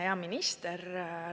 Hea minister!